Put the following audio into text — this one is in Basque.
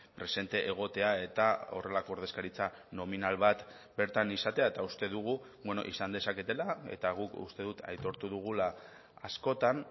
presente egotea eta horrelako ordezkaritza nominal bat bertan izatea eta uste dugu izan dezaketela eta guk uste dut aitortu dugula askotan